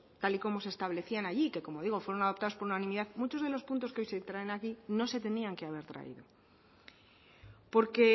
tal y como se establecían allí que como digo fueron adoptados por unanimidad muchos de los puntos que hoy se traen aquí no se tenían que haber traído porque